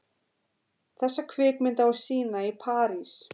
Þessa kvikmynd á að sýna í París.